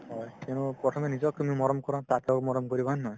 হয় কিন্তু প্ৰথমে নিজক তুমি মৰম কৰা মৰম কৰিবা হয় নে নহয়